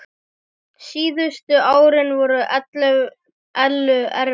Síðustu árin voru Ellu erfið.